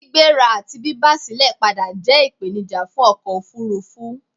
Gbígbéra àti bíba silẹ̀ padà jẹ́ ìpènijà fún ọkò òfurufú